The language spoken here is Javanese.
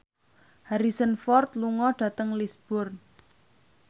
Harrison Ford lunga dhateng Lisburn